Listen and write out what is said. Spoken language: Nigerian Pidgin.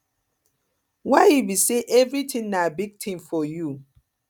why e be say everything na big thing for you